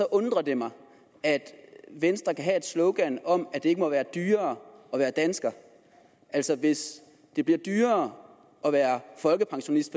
undrer det mig at venstre kan have et slogan om at det ikke må være dyrere at være dansker altså hvis det bliver dyrere at være folkepensionist